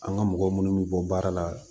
An ka mɔgɔ minnu bɛ bɔ baara la